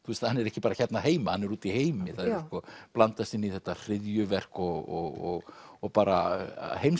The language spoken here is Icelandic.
hann er ekki bara hérna heima hann er úti í heimi það blandast inn í þetta hryðjuverk og og bara